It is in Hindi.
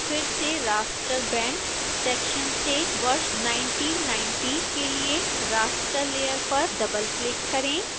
फिर से raster bands सेक्शन से वर्ष 1990 के लिए raster layer पर डबलक्लिक करें